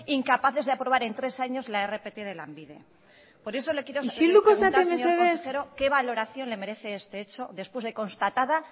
incapaces de aprobar en tres años la rpt de lanbide isilduko zarete mesedez por eso le quiero preguntar señor consejero que valoración le merece este hecho después de constatada